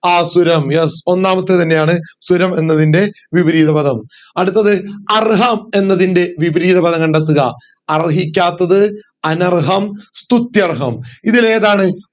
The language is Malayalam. ആസുരം yes ഒന്നാമത്തെ തന്നെയാണ് സുരം എന്നതിന്റെ വിപരീത പദം അടുത്തത് അർഹം എന്നതിൻറെ വിപരീത പദം കണ്ടെത്തുക അർഹിക്കാത്തത് അനർഹം സ്തുത്യർഹം ഇതിൽ ഏതാണ്